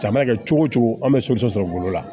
A mana kɛ cogo o cogo an bɛ sɔrɔ golo la